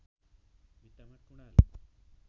भित्तामा टुँडाल